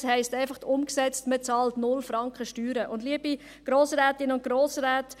heisst umgesetzt einfach, dass man 0 Franken Steuern bezahlt.